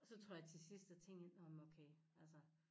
Og så tror jeg til sidst jeg tænkte nå men okay altså